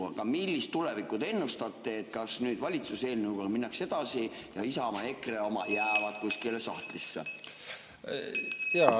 Aga millist tulevikku te ennustate, kas valitsuse eelnõuga minnakse edasi ja Isamaa ja EKRE oma jäävad kuskile sahtlisse?